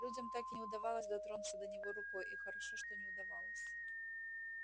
людям так и не удавалось дотронуться до него рукой и хорошо что не удавалось